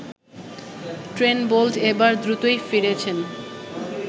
Trent Boult এবার দ্রুতই ফিরেছেন